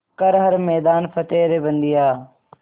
कर हर मैदान फ़तेह रे बंदेया